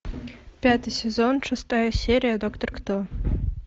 пятый сезон шестая серия доктор кто